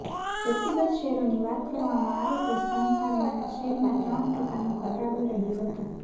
વ્યક્તિગત શેરોની વાત કરવામાં આવે તો સનફાર્માના શેરમાં ત્રણ ટકાનો ઘટાડો રહ્યો હતો